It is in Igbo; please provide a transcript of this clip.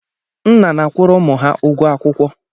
Nna na-akwuru ụmụ ha ụgọ akwụkwọ